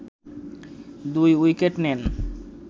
২ wicket নেন